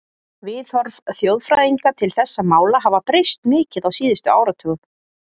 Viðhorf þjóðfræðinga til þessara mála hafa breyst mikið á síðustu áratugum.